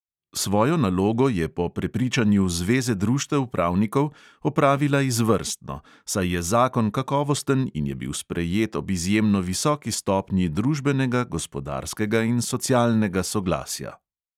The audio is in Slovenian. Svojo nalogo je po prepričanju zveze društev pravnikov opravila izvrstno, saj je zakon kakovosten in je bil sprejet ob izjemno visoki stopnji družbenega, gospodarskega in socialnega soglasja.